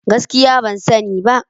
Gaskiya ban sani ba.